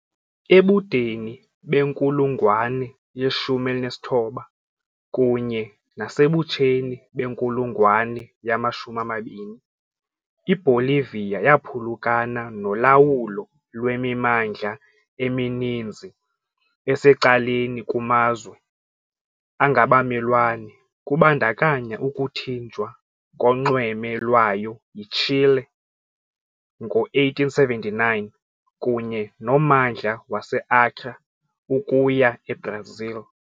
Ebudeni benkulungwane ye-19 kunye nasebutsheni benkulungwane yama-20 iBolivia yaphulukana nolawulo lwemimandla emininzi esecaleni kumazwe angabamelwane kubandakanya ukuthinjwa konxweme lwayo yiChile ngo-1879 kunye nommandla waseAcre ukuya eBrazil.